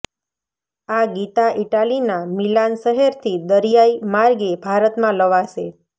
આ ગીતા ઈટાલીના મિલાન શહેરથી દરિયાઈ માર્ગે ભારતમાં લવાશે